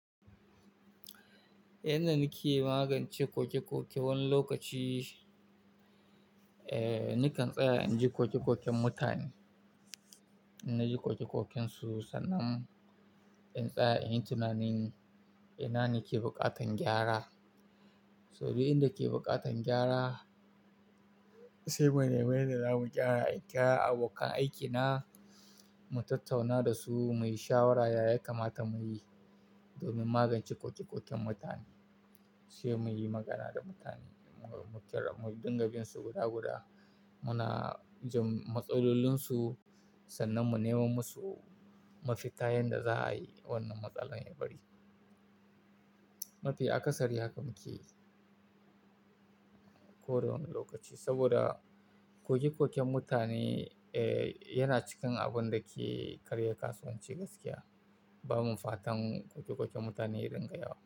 Yandaa nake magance koke-koke wani lokaci, eh nakan tsaya inji koke-koken mutane. Inaji koke-koken su sannan in tsaya in yi tunanin ina ne ke buƙatan gyara. Saboda inda ke buƙatan gyara sai mu nemi yanda zamu gyara. In kira abokan aikina mu tattauna da su, muyi shawaraya ya kamata muyi domin magance koke-koken mutane. Sai muyi magana da mutane, mu kirar mu dinga bin su guda guda. Muna jin matsalolinsu sannan mu nemo musu mafita yanda za'a yi wannan matsalar ya bari. Mafi akasari haka muke ko da wani lokaci. Saboda koke-koken mutane eh yana cikin abun da ke karya kasuwanci gaskiya. Bamu fatan koke-koken mutane ya dinga yawa.